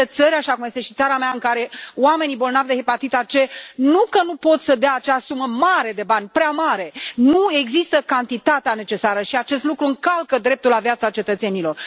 Există țări, așa cum este și țara mea, în care oamenii bolnavi de hepatita C nu că nu pot să dea acea sumă mare de bani, prea mare, nu există cantitatea necesară și acest lucru încalcă dreptul la viața cetățenilor.